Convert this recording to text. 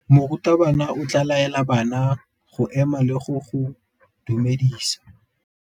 Morutabana o tla laela bana go ema le go go dumedisa.